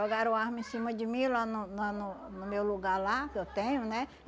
Jogaram arma em cima de mim lá no na no no meu lugar lá, que eu tenho, né?